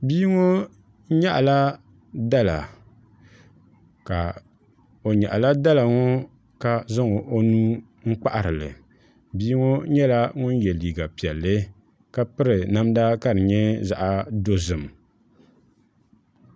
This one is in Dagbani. Bia ŋo nyaɣala dala ka zaŋ o nuu n kpaharili bia ŋo nyɛla ŋun yɛ liiga piɛlli ka piri namda ka di nyɛ zaɣ dozim